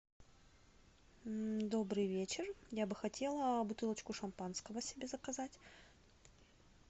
добрый вечер я бы хотела бутылочку шампанского себе заказать